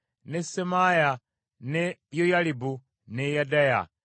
ne Semaaya, ne Yoyalibu, ne Yedaya,